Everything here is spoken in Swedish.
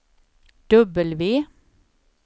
W